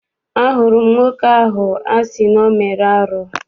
Ahụrụ m nwoke ahụ a sị na ọ mere arụ.